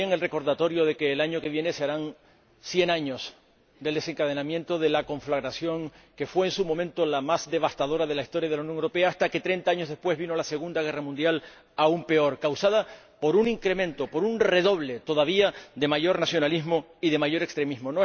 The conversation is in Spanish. Está bien el recordatorio de que el año que viene se cumplirán cien años del desencadenamiento de la conflagración que fue en su momento la más devastadora de la historia de Europa, hasta que 30 años después vino la Segunda Guerra Mundial, aún peor, causada por un incremento, por un redoble, de mayor nacionalismo y de mayor extremismo.